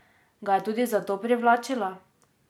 Ga je tudi zato privlačila?